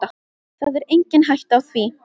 Það er engin hætta á því.